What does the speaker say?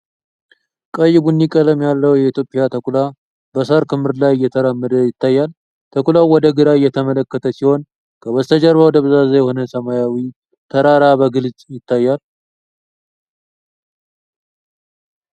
ቀይ ቡኒ ቀለም ያለው የኢትዮጵያ ተኩላ በሳር ክምር ላይ እየተራመደ ይታያል። ተኩላው ወደ ግራ እየተመለከተ ሲሆን ከበስተጀርባው ደብዛዛ የሆነ ሰማያዊ ተራራ በግልጽ ይታያል።